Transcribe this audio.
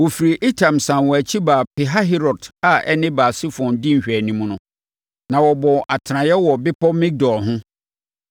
Wɔfirii Etam sane wɔn akyi baa Pihahirot a ɛne Baal-Sefon di nhwɛanimu, na wɔbɔɔ atenaeɛ wɔ bepɔ Migdol ho.